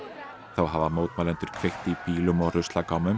þá hafa mótmælendur kveikt í bílum og